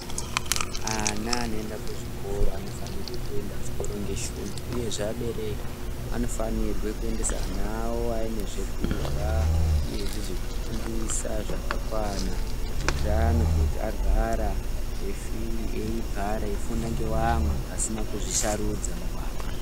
Ana anoende kuzvikora anofanire kuende zvikora ngeshungu uyezve abereki anofanirwe kuendese ana awo aine zvekurhya uyezve zvekutambisa zvakakwana kuitira kuti agara eifunda ngeamwe pasina kuzvisarudza.